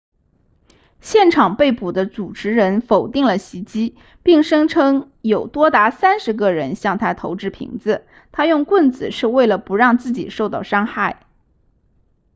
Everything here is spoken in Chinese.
现场被捕的主持人否定了袭击并声称有多达三十个人向他投掷瓶子他用棍子是为了不让自己受到伤害